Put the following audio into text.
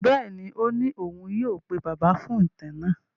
Bẹ́ẹ̀ni, ó ní òun yóò pe Bàbá fún ìtàn náà.